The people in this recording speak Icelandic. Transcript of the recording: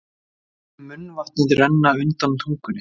Ég finn munnvatnið renna undan tungunni.